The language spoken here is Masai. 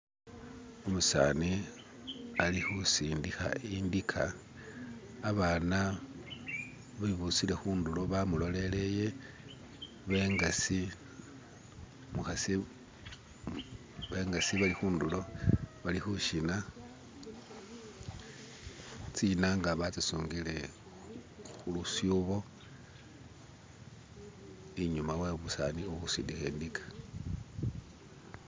Umusani, alikhusindikha indika abana bibusile khundulo bamulolele bengasi umukhasi bengasi balikhundulo balikhushina tsinanga batsisungile khulusubo inyuma we busani buhusindikha idika